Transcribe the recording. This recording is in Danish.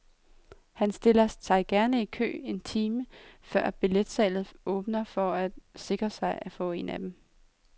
Han stiller sig gerne i kø en time før billetsalget åbner for at sikre sig en af dem.